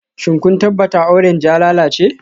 Shin kun tabbata orange ya lalace?